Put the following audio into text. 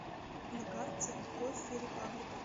на карте кофе репаблик